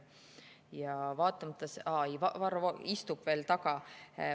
Jaa, Varro Vooglaid istub veel seal taga.